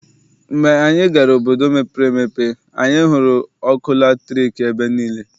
Mgbe anyị gara n'obodo mepere emepe, anyị hụrụ ọkụ latriki ebe niile.